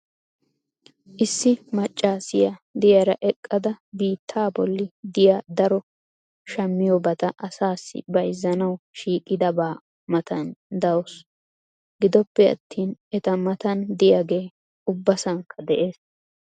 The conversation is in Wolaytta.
Issi macaassiya diyara eqqada biittaa bolli diya daro shammiyobata asaassi bayzzanawu shiiqidaba matan dawusu. gidoppe attin eta matan diyagee ubassankka de'ees.